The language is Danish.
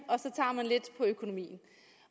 og økonomien